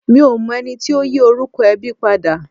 Mi ò mọ ẹni tí ó yí orúkọ ẹbí padà.